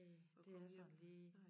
Det er sådan lige